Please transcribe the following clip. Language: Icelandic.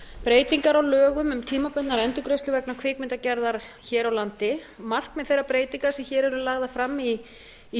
breytingar á lögum um tímabundnar endurgreiðslur vegna kvikmyndagerðar hér á landi markmið þeirra breytinga sem hér eru lagðar til í frumvarpinu